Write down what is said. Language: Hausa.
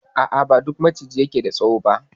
A a, ba duk Maciji ke da tsawo ba.